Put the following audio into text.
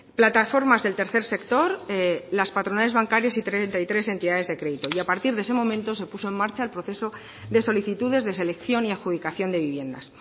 plataformas del tercer sector las patronales bancarias y treinta y tres entidades de crédito y a partir de ese momento se puso en marcha el proceso de solicitudes de selección y adjudicación de viviendas